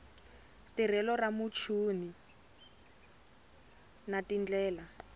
tirhelo ra muchini na tindlela